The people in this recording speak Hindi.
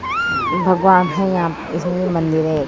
भगवान है यहाँ इसमें ये मंदिर है।